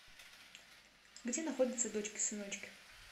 где находится дочки сыночки